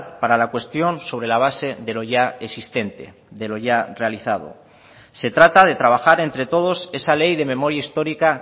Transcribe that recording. para la cuestión sobre la base de lo ya existente de lo ya realizado se trata de trabajar entre todos esa ley de memoria histórica